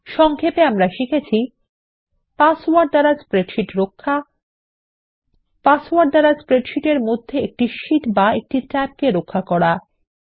সংক্ষেপ আমরা শিখেছি কিভাবে একটি স্প্রেডশীট রক্ষা পাসওয়ার্ড একটি স্প্রেডশীট ফাইলে একটি একক শীট অথবা ট্যাব রক্ষা পাসওয়ার্ড